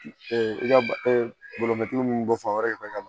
i ka bolomaturu minnu bɔ fan wɛrɛ fɛ ka na